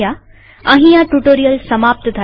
અહીં આ ટ્યુ્ટોરીઅલ સમાપ્ત થાય છે